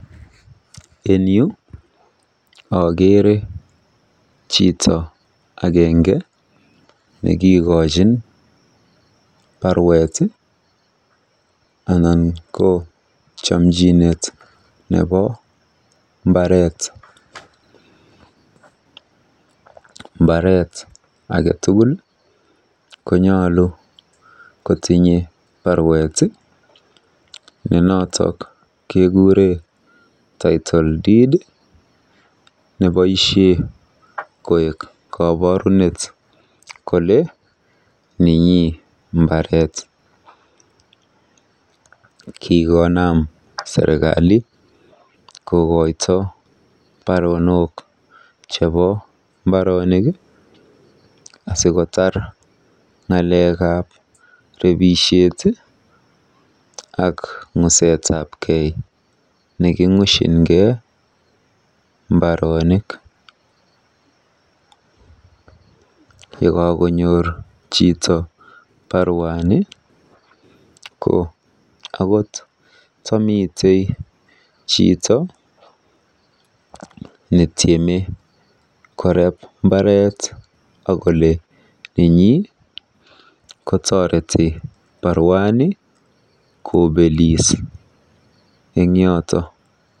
En yu akeere chito agenge nekikochin barueti anan ko chamchinet nebo mbaret. Mbaret age tugul konyolu kotinye baruet ne notok kekuree Title Deed ne notok ko koborunet kole ninyi mbaret. Kikonam serikali kokoito baronok asikotar ng'alekab rebishet ak ng'usetabkei neking'ushinkei mbaronik. Yekakonyor chito baruani ko akot tamite chito netiame koreb mbaret akole nenyi kotoreti baruani kobelis eng yoto.